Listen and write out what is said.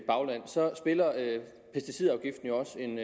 bagland så spiller pesticidafgiften jo også en